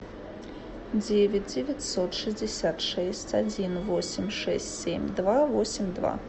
девять девятьсот шестьдесят шесть один восемь шесть семь два восемь два